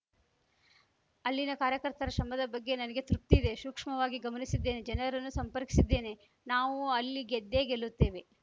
ಅಲ್ಲಿನ ಕಾರ್ಯಕರ್ತರ ಶ್ರಮದ ಬಗ್ಗೆ ನನಗೆ ತೃಪ್ತಿ ಇದೆ ಶೂಕ್ಷ್ಮವಾಗಿ ಗಮನಿಸಿದ್ದೇನೆ ಜನರನ್ನೂ ಸಂಪರ್ಕಿಸಿದ್ದೇನೆ ನಾವು ಅಲ್ಲಿ ಗೆದ್ದೇ ಗೆಲ್ಲುತ್ತೇವೆ